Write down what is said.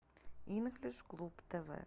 инглиш клуб тв